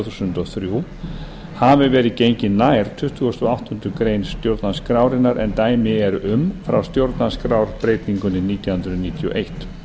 þúsund og þrjú hafi verið gengið nær tuttugasta og áttundu grein stjórnarskrárinnar en dæmi eru um frá stjórnarskrárbreytingunni nítján hundruð níutíu og eitt